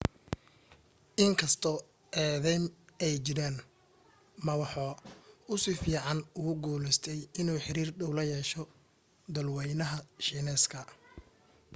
in kastoo eedaym ay jiraan ma waxa uu si fiican ugu guulaystay inuu xiriir dhow la yeesho dhulwaynaha shiineeska